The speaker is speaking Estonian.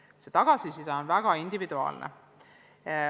Sellega seotud tagasiside on väga individuaalne.